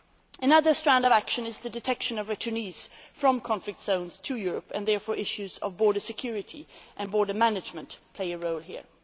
Another strand of action is the detection of returnees from conflict zones to Europe, and therefore issues of border security and border management play a role here.